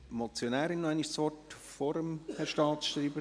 Wünscht die Motionärin das Wort nochmals – vor dem Herrn Staatschreiber?